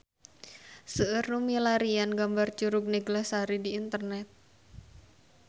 Seueur nu milarian gambar Curug Neglasari di internet